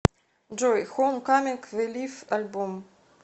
джой хоум каминг ве лив альбом